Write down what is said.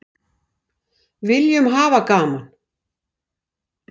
Viljum hafa gaman